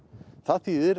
það þýðir